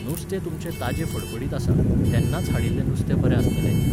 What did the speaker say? नुस्तें तुमचें ताजें फडफडीत आसा. तेन्नाच हाडिल्लें नुस्तें बरें आसतलें न्ही?